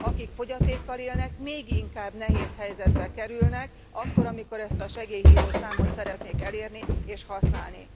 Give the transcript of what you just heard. Akik fogyatékkal élnek még inkább nehéz helyzetbe kerülnek akkor, amikor ezt a segélyhívó számot szeretnék elérni és használni.